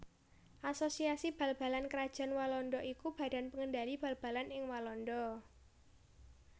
Asosiasi Bal balan Krajan Walanda iku badan pengendali bal balan ing Walanda